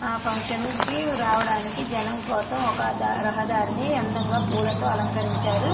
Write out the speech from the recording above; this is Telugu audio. ఆ ఫంక్షన్ కి రావడానికి జనం కోసం ఒక రహదారిని అందంగా పూలతో అలంకరించారు.